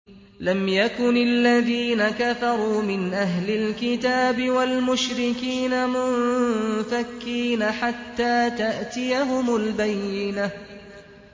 لَمْ يَكُنِ الَّذِينَ كَفَرُوا مِنْ أَهْلِ الْكِتَابِ وَالْمُشْرِكِينَ مُنفَكِّينَ حَتَّىٰ تَأْتِيَهُمُ الْبَيِّنَةُ